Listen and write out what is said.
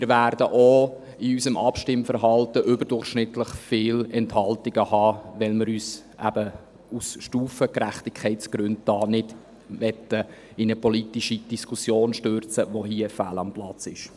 Wir werden auch bei den Abstimmverhalten überdurchschnittlich viele Enthaltungen haben, weil wir uns aus Gründen der Stufengerechtigkeit nicht in eine politische Diskussion stürzen wollen, die hier fehl am Platz ist.